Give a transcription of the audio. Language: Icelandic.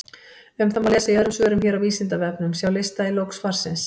Um það má lesa í öðrum svörum hér á Vísindavefnum, sjá lista í lok svarsins.